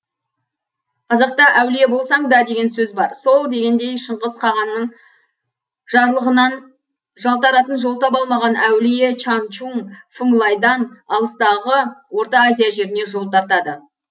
қазақта әулие болсаң да деген сөз бар сол дегендей шыңғыс қағанның жарлығынан жалтаратын жол таба алмаған әулие чаңчун фыңлайдан алыстағы орта азия жеріне жол тартады